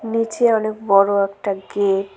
নীচে অনেক বড় একটা গেট ।